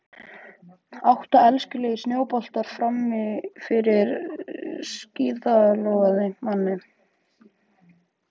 Átta elskulegir snjóboltar frammi fyrir skíðlogandi manni.